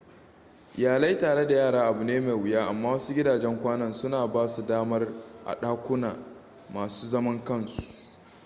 iyalai tare da yara abu ne mai wuya amma wasu gidajen kwanan suna ba su damar a ɗakuna masu zaman kansu